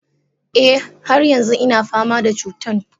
e, har yanzu ina fama da cutan.